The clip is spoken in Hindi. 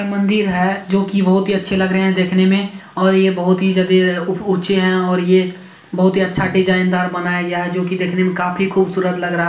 मंदिर है जो कि बहुत ही अच्छे लग रहे है देखने मे और ये बहुत ही ज्यादे उ-ऊंचे है और ये बहुत ही अच्छा डिजाइन दार बनाया गया है जो कि देखने मे काफी खूबसूरत लग रहा।